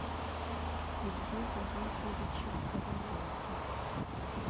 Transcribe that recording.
ильи валерьевича королева